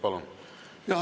Palun!